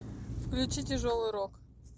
включи тяжелый рок